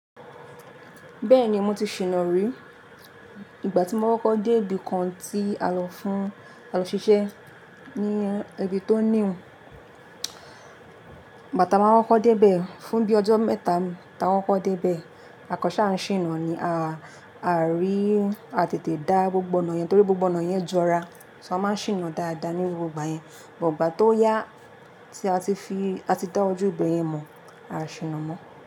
Bẹ́ẹ̀ni mo ti ṣìná rí. Ìgbà tí mo koko dé ibi kan tí a lọ fún, a lọ ṣiṣẹ́ ní ibi tó new igba ta waa koko dé ibẹ̀, fún bí ọjọ́ mẹ́ta ni, ta kokọ́ dé ibẹ̀. Àkọ sà ń ṣìná ni, a rí, a tètè dá gbogbo ọ̀nà yẹn torí gbogbo ọ̀nà yẹn jọra. A n ma ṣìná dáadáa ní gbogbo igbà yẹn, bụ́t igbà tó yá tí a ti fi, a ti dá ojú ibẹ̀ yẹn mọ̀, a ṣìná mọ́.